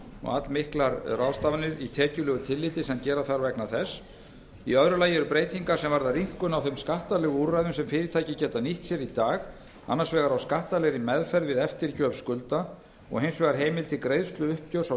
allmiklar ráðstafanir í tekjulegu tilliti sem gera þarf vegna þess í öðru lagi eru breytingar sem varða rýmkun á þeim skattalegu úrræðum sem fyrirtæki geta nýtt sér í dag annars vegar á skattalegri meðferð við eftirgjöf skulda og hins vegar heimild til greiðsluuppgjörs á